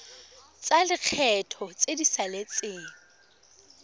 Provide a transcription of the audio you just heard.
tsa lekgetho tse di saletseng